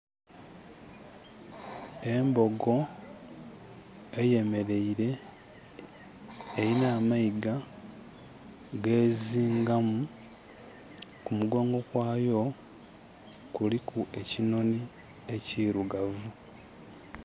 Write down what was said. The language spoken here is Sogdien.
Embogo eyemeleire. Elina amayiga gezingamu. Ku mugongo kwaayo kuliku ekinhonhi ekirugavu.